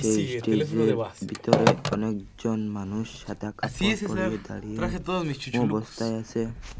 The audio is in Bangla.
এই স্টেজের ভিতরে অনেকজন মানুষ সাদা কাপড় পড়ে দাঁড়িয়ে অবস্থায় আছে।